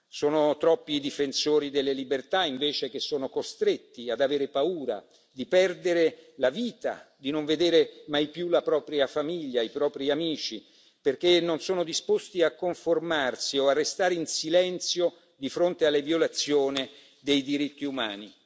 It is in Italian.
Sono troppi i difensori delle libertà, invece, che sono costretti ad avere paura di perdere la vita, di non vedere mai più la propria famiglia e i propri amici, perché non sono disposti a conformarsi o a restare in silenzio di fronte alle violazioni dei diritti umani.